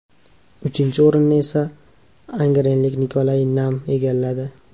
Uchinchi o‘rinni esa angrenlik Nikolay Nam egalladi.